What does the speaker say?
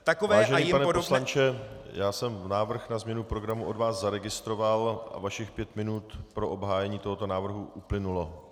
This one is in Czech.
Vážený pane poslanče, já jsem návrh na změnu programu od vás zaregistroval a vašich pět minut pro obhájení tohoto návrhu uplynulo.